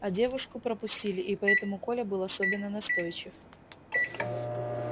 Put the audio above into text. а девушку пропустили и поэтому коля был особенно настойчив